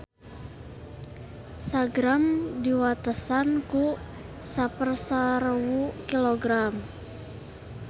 Sa-gram diwatesan ku sapersarewu kilogram